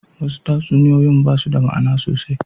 Wasu tatsuniyoyin ba su da ma'ana sosai.